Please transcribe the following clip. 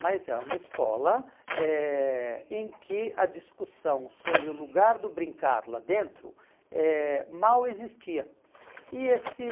Mas é uma escola eh em que a discussão sobre o lugar do brincar lá dentro eh mal existia. E esse